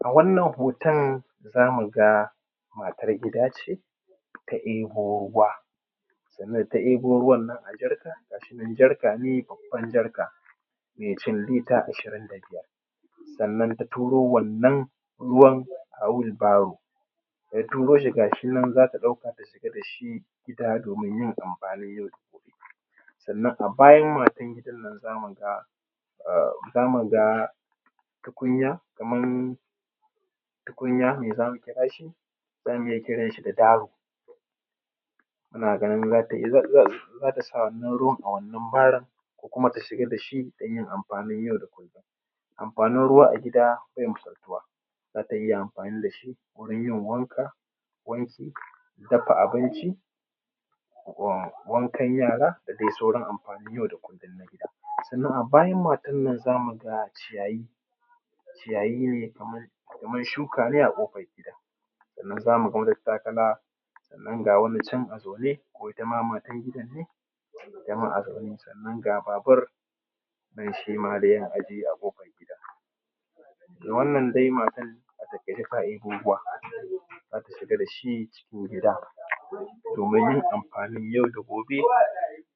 A wannan hotan, za mu ga matar gida ce ta abo ruwa sannan da ta abo ruwan nan a jarka ga shi nan jarka ne, babban jarka mai cin lita ashirin da biyar sannan ta turo wannan ruwan a wil baro. daTa turo shi ga shi nan, za ta ɗauko ta shiga da shi gida, domin yin amfanin yau da kullum, sannan a bayan matan gidan nan, za mu ga um za mu ga tukunya kaman tukunya me za mu kirashi, zamu iya kiran shi da daru Muna ganin, za ta sa wannan ruwan a wannan barun ko kuma ta siga da shi, dan yin amfanin yau da kullum amfanin ruwa a gida be misaltuwa za ta iya amfani da shi wurin yin wanka, wanki, dafa abinci, wa wankan yara, da dai sauran amfanin yau da kullum na gida. Sannan a bayan matanan, za mu ga ciyayi, ciyaye ne, kaman kaman shuka ne a ƙofan gida, sannan za mu ga matattakala sannan, ga wani can a zaune ko ita ma matan gidan ne.itama a zaune Sannan ga babur nan, shi ma dai ya ajje a ƙofar gida, wannan dai, matan a takaice ta ɗibo ruwa, za ta shiga da shi cikin gida domin yin amfanin yau da gobe,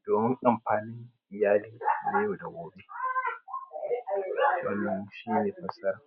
domin amfanin iyalina na yau da gobe wannan shine fassara.